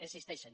existeixen